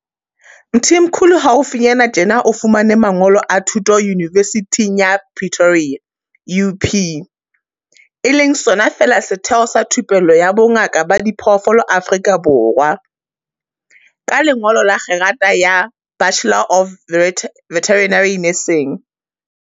Mthimkhulu haufinyana tjena o fumane mangolo a thuto Yunivesithing ya Pretoria UP, e leng sona feela setheo sa thupello ya bongaka ba diphoofolo Afrika Borwa, ka lengolo la kgerata ya Bachelor of Veterinary Nursing.